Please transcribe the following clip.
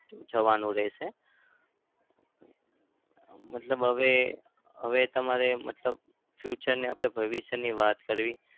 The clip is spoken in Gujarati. જવાનું રહેશે. અમ મતલબ હવે હવે તમારે મતલબ future ને આપણે ભવિષ્યની વાત કરવી